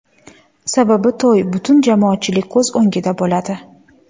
Sababi to‘y butun jamoatchilik ko‘z o‘ngida bo‘ladi.